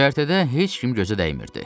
Göyərtədə heç kim gözə dəymirdi.